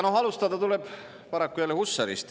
Alustada tuleb paraku jälle Hussarist.